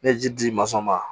Ne ye ji di ma